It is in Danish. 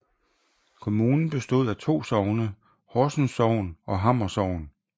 Kommunen bestod af de to sogne Horsens Sogn og Hammer Sogn